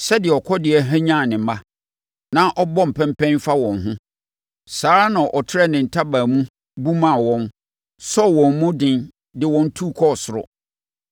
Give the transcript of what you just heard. Sɛdeɛ ɔkɔdeɛ hwanyan ne mma, na ɔbɔ mpɛmpɛn fa wɔn ho, saa ara na ɔtrɛɛ ne ntaban mu bumaa wɔn, sɔɔ wɔn mu den de wɔn tu kɔɔ soro.